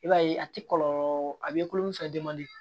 I b'a ye a ti kɔlɔlɔ a b'i kulomisɛn